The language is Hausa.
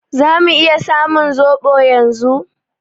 Zamu iya samun zoɓon yanzu?